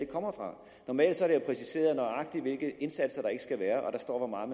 kommer fra normalt er det jo præciseret nøjagtigt hvilke indsatser der ikke skal være og der står hvor meget